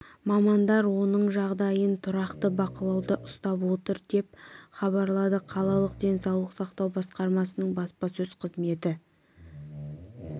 мамандар оның жағдайын тұрақты бақылауда ұстап отыр деп хабарлады қалалық денсаулық сақтау басқармасының баспасөз қызметі